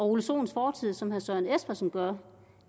ole sohns fortid som herre søren espersen gør